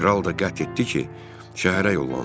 Kral da qət etdi ki, şəhərə yollansın.